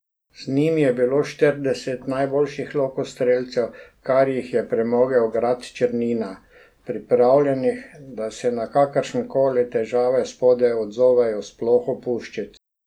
Z njim je bilo štirideset najboljših lokostrelcev, kar jih je premogel grad Črnina, pripravljenih, da se na kakršne koli težave spodaj odzovejo s ploho puščic.